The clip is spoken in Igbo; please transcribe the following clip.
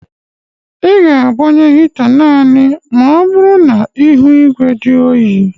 ị ga-agbanye hita naanị ma ọ bụrụ na ihu igwe dị oyi